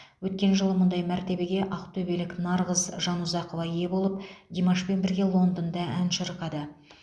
өткен жылы мұндай мәртебеге ақтөбелік нарғыз жанұзақова ие болып димашпен бірге лондонда ән шырқады